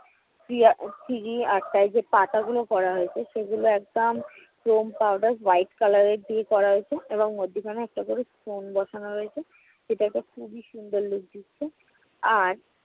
Three~ ah 3D art টা ওই যে পাতাগুলো করা হয়েছে। সেগুল একটা foam powder white color দিয়ে করা হয়েছে এবং মধ্যেখানে একটা করে stone বসানো রয়েছে, সেটা একটা খুবই সুন্দর look দিচ্ছে। আর